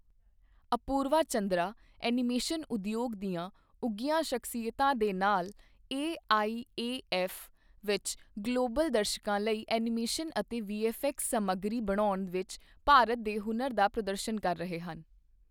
Apurva Chandra animation ਉਦਯੋਗ ਦੀਆਂ ਉੱਘੀਆਂ ਸ਼ਖਸੀਅਤਾਂ ਦੇ ਨਾਲ, ਏਆਈਏਐਫ ਵਿੱਚ ਗਲੋਬਲ ਦਰਸ਼ਕਾਂ ਲਈ ਐਨੀਮੇਸ਼ਨ ਅਤੇ ਵੀਐੱਫਐਕਸ ਸਮੱਗਰੀ ਬਣਾਉਣ ਵਿੱਚ ਭਾਰਤ ਦੇ ਹੁਨਰ ਦਾ ਪ੍ਰਦਰਸ਼ਨ ਕਰ ਰਹੇ ਹਨ।